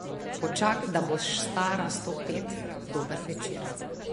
Počak, da boš stara sto pet, dober večer.